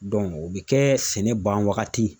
o bɛ kɛ sɛnɛ ban wagati